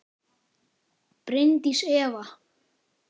Bryndís Eva.